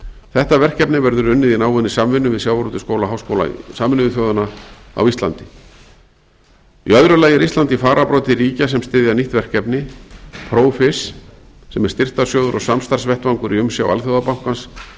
þetta verkefni verður unnið í náinni samvinnu við sjávarútvegsskóla háskóla sameinuðu þjóðanna á íslandi í öðru lagi er ísland í farabroddi ríkja sem styðja nýtt verkefni profish sem er styrktarsjóður og samstarfsvettvangur í umsjá alþjóðabankans